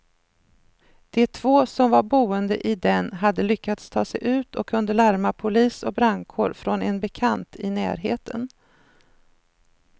De två som var boende i den hade lyckats ta sig ut och kunde larma polis och brandkår från en bekant i närheten.